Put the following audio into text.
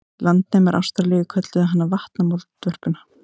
Landnemar Ástralíu kölluðu hana vatnamoldvörpuna.